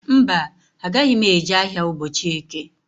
Mba, agaghị m eje ahịa ụbọchị eke.